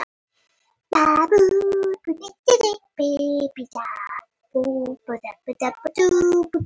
Það bárust þrjár fyrirspurnir í dag sem dómararnir okkar svöruðu.